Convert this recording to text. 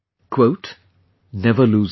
"Never lose hope